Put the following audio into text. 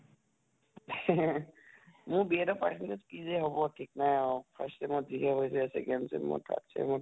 মোৰ B Ed ৰ percentage কি যে হʼব ঠিক নাই আৰু । first sem অত যিহে হৈছে, second sem ত third sem ত